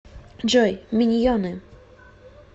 джой миньены